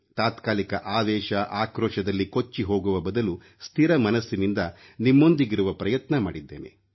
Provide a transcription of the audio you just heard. ತಾತ್ಕಾಲಿಕ ಆವೇಶ ಆಕ್ರೋಶದಲ್ಲಿ ಕೊಚ್ಚಿಹೋಗುವ ಬದಲು ಸ್ಥಿರ ಮನಸ್ಸಿನಿಂದ ನಿಮ್ಮೊಂದಿಗಿರುವ ಪ್ರಯತ್ನ ಮಾಡಿದ್ದೇನೆ